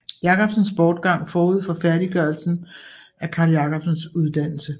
Jacobsens bortgang forud for færddiggørelsen af Carl Jacobsens uddannelse